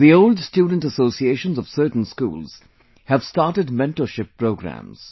The old student associations of certain schools have started mentorship programmes